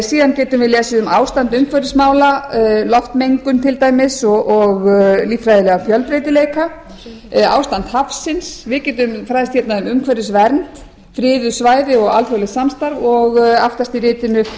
síðan getum við lesið um ástand umhverfismála loftmengun til dæmis og líffræðilegan fjölbreytileika ástand hafsins við getum fræðst hérna um umhverfisvernd friðuð svæði og alþjóðlegt samstarf og aftast í ritinu